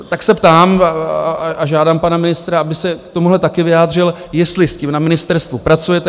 Tak se ptám a žádám pana ministra, aby se k tomuhle taky vyjádřil, jestli s tím na ministerstvu pracujete.